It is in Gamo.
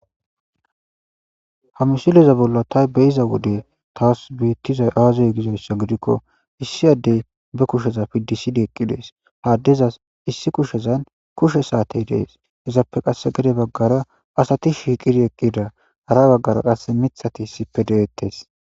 Ha msileza bolla tay be'iza wode taas beettiza aazey gizoyssa gidikko issi addey be kusheza piddisidi eqqi dees haaddezas issi kushezan kushe saatey dees izappe qasse gade baggara asati shiiqidi eqqida hara baggara qasse mithati sipe de'ettes.